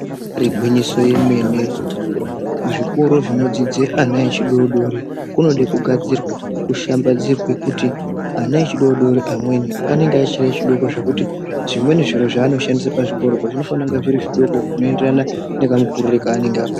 Ibari gwinyiso remene kuzvikora kunodzidza zvivana zvidodori kunoda kugadzirwe kushambadzirwe kuti ana achidodori amweni anenge achiri adoko ngekuti zvimweni zviro zvavanoshandisa pachokoro zvinofanira kuva zviri zvidoko zvichienderana nemakuriro kaanenge akaita.